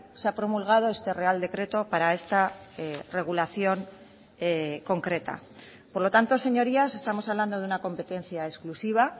se ha promulgado este real decreto para esta regulación concreta por lo tanto señorías estamos hablando de una competencia exclusiva